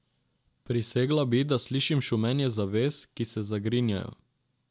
Prisegla bi, da slišim šumenje zaves, ki se zagrinjajo.